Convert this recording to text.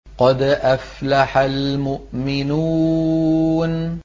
قَدْ أَفْلَحَ الْمُؤْمِنُونَ